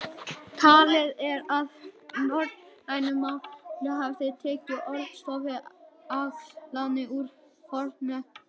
Talið er að norrænu málin hafi tekið orðstofninn að láni úr fornensku.